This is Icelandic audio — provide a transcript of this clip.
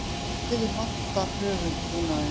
því miður vantar höfuðbúnaðinn